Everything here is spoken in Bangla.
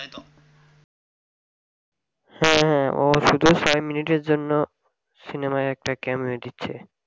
হ্যাঁ হ্যাঁ ও শুধু five minute এর জন্য সিনেমায় একটা cameo দিচ্ছে